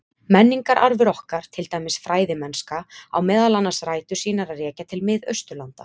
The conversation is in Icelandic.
Menningararfur okkar, til dæmis fræðimennska, á meðal annars rætur sínar að rekja til Mið-Austurlanda.